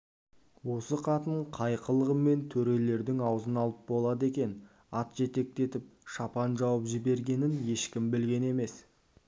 осы қатын қай қылығымен төрелердің аузын алып болды екен ат жетектетіп шапан жауып жібергенін ешкім білген емес